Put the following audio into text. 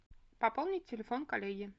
пополнить телефон коллеги